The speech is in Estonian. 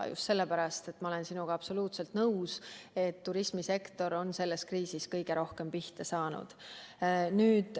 Ja just sellepärast – ma olen sinuga absoluutselt nõus –, et turismisektor on selles kriisis kõige rohkem pihta saanud.